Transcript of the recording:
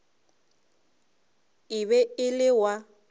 e be e le wa